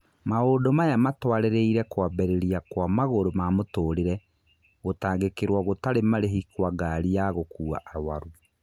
Maũndũ maya matũarĩrĩire kũambĩrĩria kwa Magũrũ ma Mũtũrĩre - gũtangĩkĩrwo gũtarĩ marĩhi kwa ngari ya gũkuwa arũaru.